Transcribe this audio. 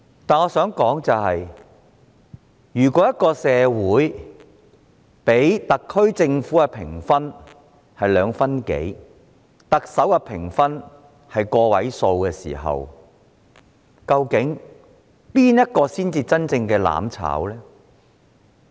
但是，我想指出如社會人士給予特區政府的評分只得2分左右，給予特首的評分亦只屬個位數，究竟誰才真正在"攬炒"呢？